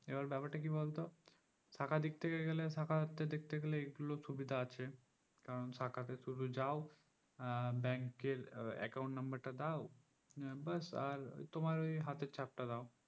এবার ব্যাপার তা কি বলতো শাখার দিক থেকে গেলে শাখাতে দেখতে গেলে এইগুলো সুবিধা আছে কারণ শাখাতে শুধু যাও আহ bank এর আহ account number টা দাও নিয়ে বাস আর তোমার ওই হাতের চাফটা দাও